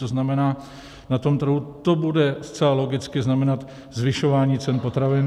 To znamená, na tom trhu to bude zcela logicky znamenat zvyšování cen potravin.